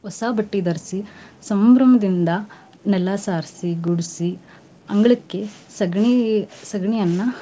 ಹೊಸ ಬಟ್ಟಿ ಧರಿಸಿ ಸಂಭ್ರಮದಿಂದ ನೆಲ ಸಾರಸಿ ಗುಡ್ಸಿ ಅಂಗ್ಳಕ್ಕೆ ಸಗಣಿ ಸಗಣಿಯನ್ನ.